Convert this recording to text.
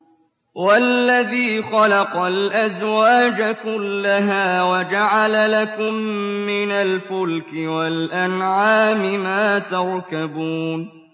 وَالَّذِي خَلَقَ الْأَزْوَاجَ كُلَّهَا وَجَعَلَ لَكُم مِّنَ الْفُلْكِ وَالْأَنْعَامِ مَا تَرْكَبُونَ